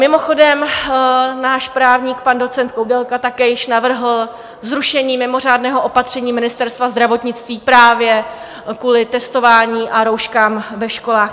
Mimochodem, náš právník pan docent Koudelka také již navrhl zrušení mimořádného opatření Ministerstva zdravotnictví právě kvůli testování a rouškám ve školách.